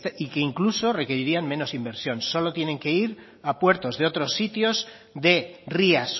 y que incluso requerirían menos inversión solo tienen que ir a puertos de otros sitios de rías